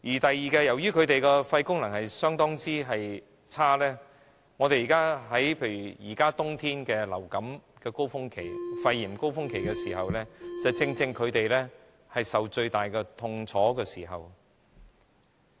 此外，由於他們的肺功能相當差，在冬天流感、肺炎高峰期時，正正是他們受到最大的痛楚之時。